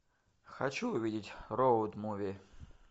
хочу увидеть роуд муви